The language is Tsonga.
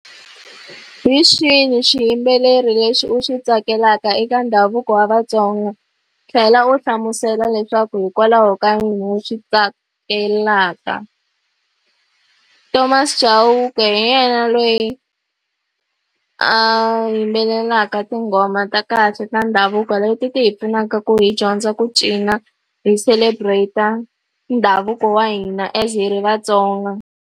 Hi xihi xiyimbeleri lexi u xi tsakelaka eka ndhavuko wa Vatsonga. Tlhela u hi hlamusela leswaku hikokwalaho ka yini u xi tsakelaka. Thomas Chauke hi yena loyi a yimbelelaka tinghoma ta kahle ta ndhavuko leti ti hi pfunaka ku hi dyondza ku cina, hi celebrate-a ndhavuko wa hina as hi ri Vatsonga.